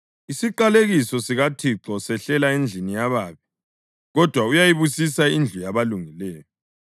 Isiqalekiso sikaThixo sehlela endlini yababi, kodwa uyayibusisa indlu yabalungileyo.